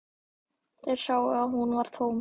Þeir sáu að hún var tóm.